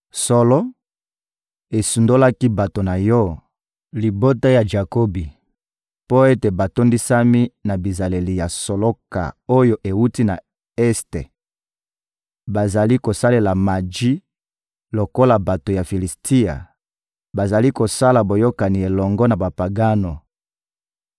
Solo, osundolaki bato na Yo, libota ya Jakobi, mpo ete batondisami na bizaleli ya soloka oyo ewuti na Este; bazali kosalela maji lokola bato ya Filisitia, bazali kosala boyokani elongo na bapagano.